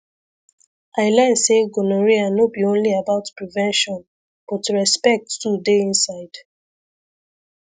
i learn say gonorrhea no be only about prevention but respect too dey inside